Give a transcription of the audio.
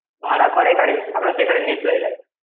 ভাড়া করে গাড়ি, আমরা সেখানে নিয়ে চলে যাই।